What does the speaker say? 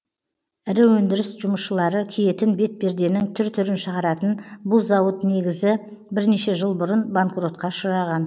ірі өндіріс жұмысшылары киетін бетперденің түр түрін шығаратын бұл зауыт негізі бірнеше жыл бұрын банкротқа ұшыраған